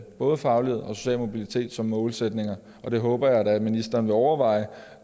både faglighed og social mobilitet som målsætninger og det håber jeg da at ministeren vil overveje